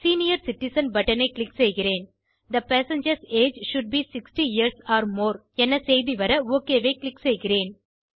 senior citizen button ஐ click செய்கிறேன் the passengers age should be 60 years or more என செய்தி வர ஒக் ஐ க்ளிக் செய்கிறேன்